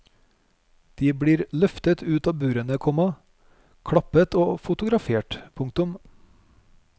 De blir løftet ut av burene, komma klappet og fotografert. punktum